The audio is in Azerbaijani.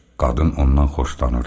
Qadın ondan xoşlanırdı.